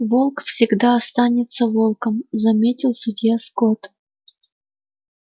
волк всегда останется волком заметил судья скотт